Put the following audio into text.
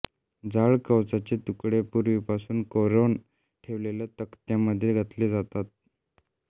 जाड कवचाचे तुकडे पूर्वीपासून कोरोन ठेवलेल्या तक्त्यामध्ये घातले जातात